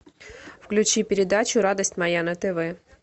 включи передачу радость моя на тв